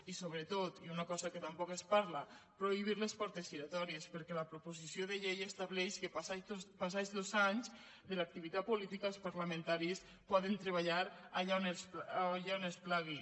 i sobretot i una cosa de què tampoc es parla prohibir les portes giratòries perquè la proposició de llei estableix que passats dos anys de l’activitat política els parlamentaris poden treballar allà on els plagui